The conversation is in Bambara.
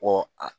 Ɔ a